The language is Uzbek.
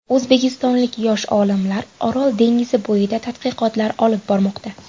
O‘zbekistonlik yosh olimlar Orol dengizi bo‘yida tadqiqotlar olib bormoqda.